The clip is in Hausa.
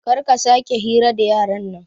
Karka sake hira da yaran nan